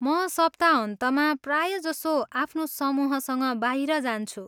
म सप्ताहन्तमा प्रायजसो आफ्नो समूहसँग बाहिर जान्छु।